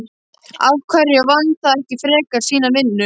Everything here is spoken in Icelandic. Af hverju vann það ekki frekar sína vinnu?